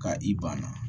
Ka i ban na